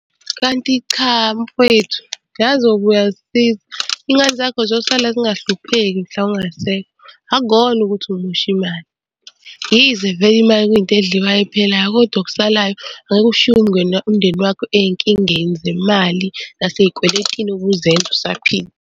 Kanti cha mfwethu, yazi uyobe uyazisiza, iy'ngane zakho zosala zingahlupheki mhla ungasekho. Akukona ukuthi umosha imali, yize vele imali kuyinto edliwayo ephelayo, kodwa okusalayo ngeke ushiye umndeni wakho ey'nkingeni zemali nasey'kweletini obuzenza usaphila.